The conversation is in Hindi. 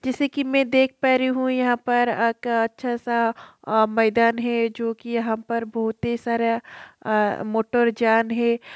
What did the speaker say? जैसे की मैं देख पा रही हूँ यहाँ पर एक अच्छा सा अ मैदान है जो कि यहाँ पर बहोत ही सारा अ मोटर जान है।